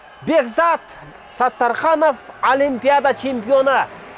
бекзат саттарханов олимпиада чемпионы